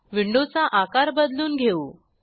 विंडोचा आकार बदलून घेऊ